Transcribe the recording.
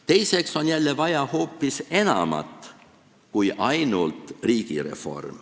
Teiseks on jälle vaja hoopis enamat kui ainult riigireform.